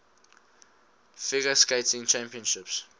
figure skating championships